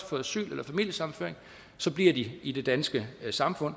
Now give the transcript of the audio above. får asyl eller familiesammenføring bliver i i det danske samfund